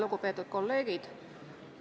Lugupeetud kolleegid!